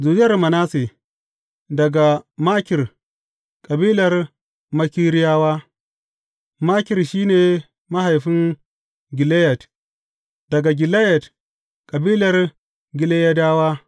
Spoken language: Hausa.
Zuriyar Manasse, daga Makir, kabilar Makiriyawa Makir shi ne mahaifin Gileyad; daga Gileyad, kabilar Gileyadawa.